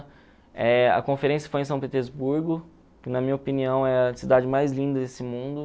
Eh a conferência foi em São Petersburgo, que na minha opinião é a cidade mais linda desse mundo.